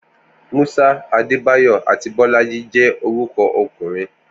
Musa, Adebayor, àti Bolaji jẹ́ orúkọ ọkùnrin.